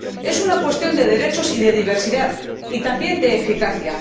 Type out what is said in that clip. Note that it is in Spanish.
Es una cuestión de derechos, de diversidad y también de eficacia.